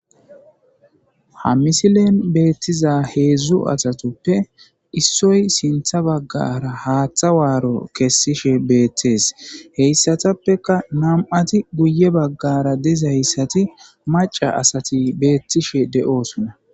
Ha misilen beettiza heedzdzu asatoppe issoy sintha baggara haaththa waaro kessishe beettees heyssatappeka nama'ti guye baggara dezayssati maca asati beettishe de'oosunna